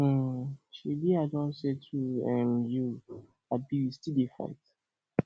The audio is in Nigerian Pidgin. um shebi i don settle um you abi we dey still fight